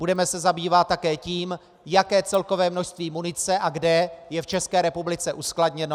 Budeme se zabývat také tím, jaké celkové množství munice a kde je v České republice uskladněno.